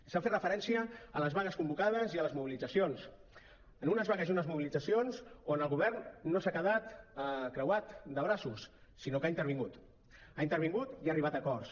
s’ha fet referència a les vagues convocades i a les mobilitzacions a unes vagues i unes mobilitzacions on el govern no s’ha quedat creuat de braços sinó que ha intervingut ha intervingut i ha arribat a acords